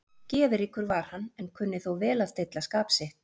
Geðríkur var hann, en kunni þó vel að stilla skap sitt.